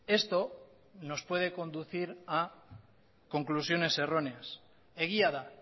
esto nos puede conducir a conclusiones erróneas egia da